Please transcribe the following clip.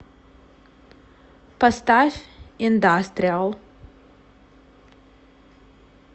поставь индастриал